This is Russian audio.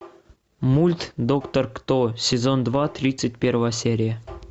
мульт доктор кто сезон два тридцать первая серия